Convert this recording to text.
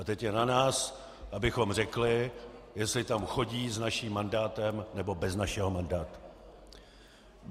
A teď je na nás, abychom řekli, jestli tam chodí s naším mandátem, nebo bez našeho mandátu.